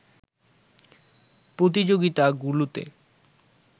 প্রতিযোগিতাগুলোতে